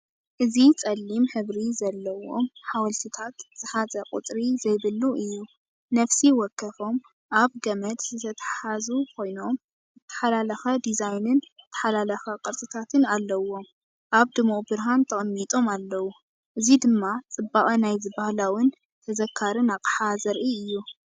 እዚ ጸሊም ሕብሪ ዘለዎም ሓወልቲታት ዝሓዘ ቁጽሪ ዘይብሉ እዩ። ነፍሲ ወከፎም ኣብ ገመድ ዝተተሓሓዙ ኮይኖም፡ እተሓላለኸ ዲዛይንን እተሓላለኸ ቅርጽታትን ኣለዎም ኣብ ድሙቕ ብርሃን ተቐሚጦም ኣለዉ። እዚ ድማ ጽባቐ ናይዚ ባህላውን ተዘካርን ኣቕሓ ዘርኢ እዩ።